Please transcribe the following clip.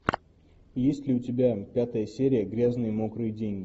есть ли у тебя пятая серия грязные мокрые деньги